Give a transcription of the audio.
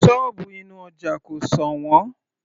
Sọ́ọ̀bù inú ọja kò sọ̀wọ́n